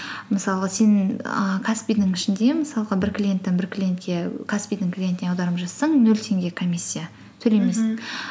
мысалы сен ііі каспи дің ішінде мысалға бір клиенттен бір клиентке каспи дің клиентіне аударым жасасаң нөл теңге комиссия